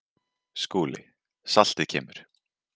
SKÚLI: Saltið kemur.